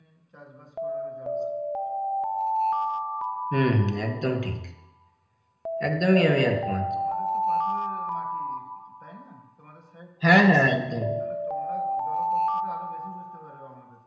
চাষবাস করারও জল পাবে না হম হম একদম ঠিক একদমই আমি একমত তোমাদের তো পাথরের মাটি তাই না? তোমাদের সেই হ্যাঁ হ্যাঁ একদম তাহলে তোমরা জলকষ্ট টা আরও বেশি বুঝতে পারবে আমাদের থেকে,